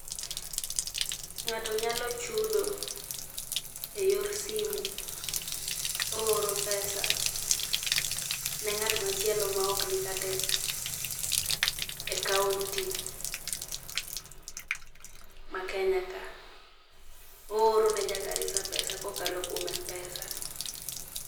Ng'ato nyalo chudo eyor simu, ooro pesa ne ng'at machielo ma ok nikata e kaonti ma Kenya ka. Ooro ne ja Garissa pesa kokalo kuom m-pesa.